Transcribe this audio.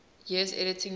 years editing lewes's